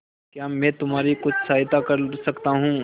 क्या मैं तुम्हारी कुछ सहायता कर सकता हूं